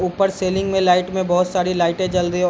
ऊपर सीलिंग में लाइट में बहुत सारी लाइटें जल रही हैं।